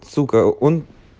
сука он